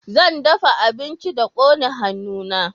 zan dafa abinci da kone hannu na